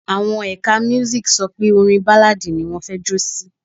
Àwọn ẹ̀ka Music sọ pé orin Báláadì ni wọn fẹ́ jó sí.